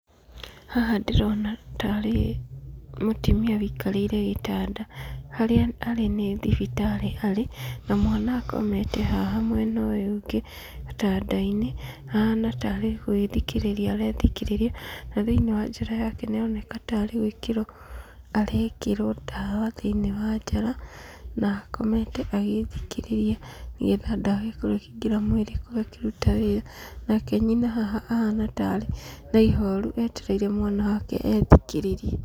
Haha ndĩrona tarĩ mũtumia wũikarĩire gĩtanda harĩa arĩ nĩ thibitarĩ arĩ, na mwana nĩakomete mwena ũyũ ũngĩ gĩtandainĩ ahana ta arĩ gwĩthikĩrĩria arethikĩrĩria. Na thĩinĩ wa njara yake nĩ aroneka tarĩ gwĩkĩrwo arekĩrwo ndawa thĩinĩ wa njara, na akomete agĩthikĩrĩria nĩgetha ndawa ĩkorwo ĩkĩingĩra mwĩrĩ na ĩkĩruta wĩra. Nake nyina haha ahana ta arĩ na ihoru etereire mwana wake ethikĩrĩrie.